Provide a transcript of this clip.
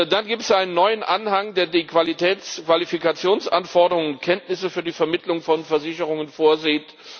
Da gibt es einen neuen Anhang, der die Qualifikationsanforderungen, Kenntnisse für die Vermittlung von Versicherungen vorsieht.